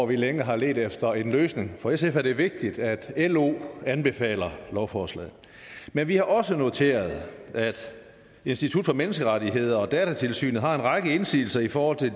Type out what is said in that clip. vi længe har ledt efter en løsning for sf er det vigtigt at lo anbefaler lovforslaget men vi har også noteret at institut for menneskerettigheder og datatilsynet har en række indsigelser i forhold til